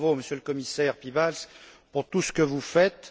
Bravo, Monsieur le Commissaire Piebalgs, pour tout ce que vous faites.